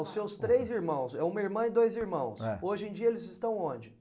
Os seus três irmãos, uma irmã e dois irmãos, eh, hoje em dia eles estão onde?